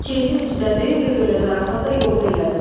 Keyfin istədi, bir belə zarafat da yolda elədin.